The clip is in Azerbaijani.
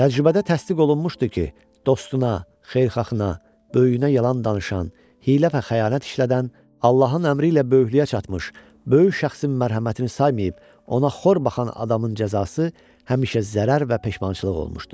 Təcrübədə təsdiq olunmuşdu ki, dostuna, xeyirxahına, böyüyünə yalan danışan, hiylə və xəyanət işlədən, Allahın əmri ilə böyüklüyə çatmış, böyük şəxsin mərhəmətini saymayıb, ona xor baxan adamın cəzası həmişə zərər və peşmançılıq olmuşdu.